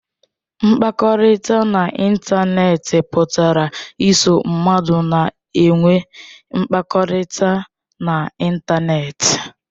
Mkpakọrịta n'ịntanetị pụtara iso mmadụ na-enwe mmekọrịta na ịntanetị.